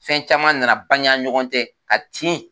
Fɛn caman na na bange an ni ɲɔgɔn cɛ ka tin